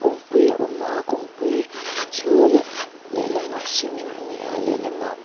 kawngpui a awm a kawngpui chu leh lehlamah cement a ni a lehlamah --